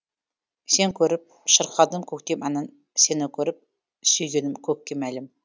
сені көріп шырқадым көктем әнін сені көріп сүйгенім көкке мәлім